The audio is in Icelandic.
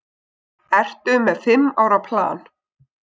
Ertu með fimm ára plan?